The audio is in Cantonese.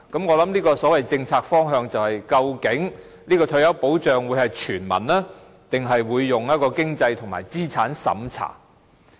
"我想這個所謂政策方向便是：究竟這項退休保障會是全民的，還是採用經濟和資產審查的方式？